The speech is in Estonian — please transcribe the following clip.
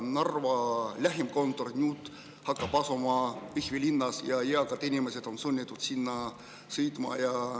Lähim kontor hakkab asuma Jõhvi linnas ja eakad inimesed on sunnitud sinna sõitma.